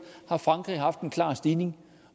har frankrig haft en klar stigning